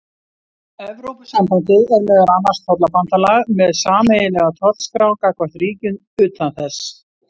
Evrópusambandið er meðal annars tollabandalag með sameiginlega tollskrá gagnvart ríkjum utan þess.